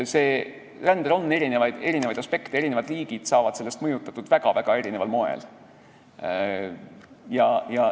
Rändel on erinevaid aspekte, eri riigid saavad sellest mõjutatud väga-väga erineval moel.